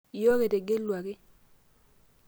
iyiook etegeluaki